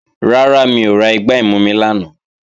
Rárá, mi ò ra igbá ìmumi lánàá